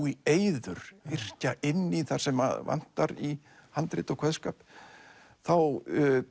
í eyður yrkja inn í þar sem vantar í handrit og kveðskap þá